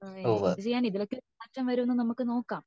അഹ് ഇത് ഞാൻ ഇതിലൊക്കെ മാറ്റം വരുമൊന്ന് നമുക്ക് നോകാം